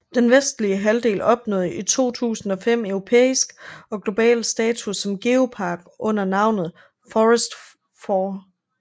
Den vestlige halvdel opnåede i 2005 europæisk og global status som geopark under navnet Fforest Fawr